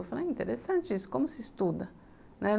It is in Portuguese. Eu falei, interessante isso, como se estuda, né.